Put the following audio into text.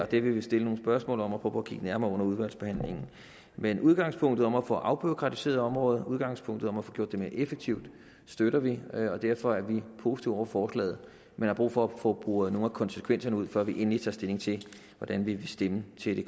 det vil vi stille nogle spørgsmål om og kigge nærmere på under udvalgsbehandlingen men udgangspunktet om at få afbureaukratiseret området udgangspunktet om at få gjort det mere effektivt støtter vi og derfor er vi positive over for forslaget men har brug for at få boret nogle af konsekvenserne ud før vi endeligt tager stilling til hvordan vi vil stemme til